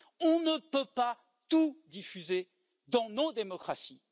On ne peut pas tout diffuser dans nos démocraties.